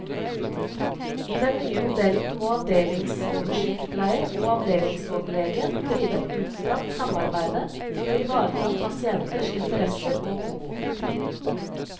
I den nye modellen må avdelingsoversykepleier og avdelingsoverlege drive et utstrakt samarbeide for å ivareta pasienters interesser og behov.